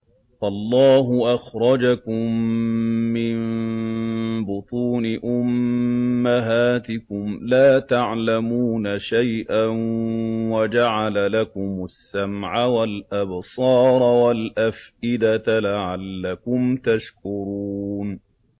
وَاللَّهُ أَخْرَجَكُم مِّن بُطُونِ أُمَّهَاتِكُمْ لَا تَعْلَمُونَ شَيْئًا وَجَعَلَ لَكُمُ السَّمْعَ وَالْأَبْصَارَ وَالْأَفْئِدَةَ ۙ لَعَلَّكُمْ تَشْكُرُونَ